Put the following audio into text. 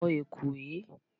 Wo ẹ̀kú yìí!